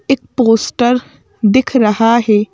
एक पोस्टर दिख रहा है।